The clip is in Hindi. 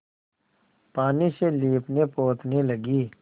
पानी से लीपनेपोतने लगी